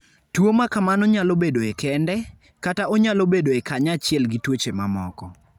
Tuwo ma kamano nyalo bedoe kende, kata onyalo bedoe kanyachiel gi tuoche mamoko.